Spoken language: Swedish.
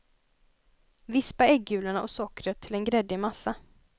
Vispa äggulorna och sockret till en gräddig massa.